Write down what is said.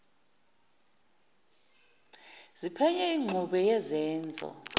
ziphenye ingxube yezenzo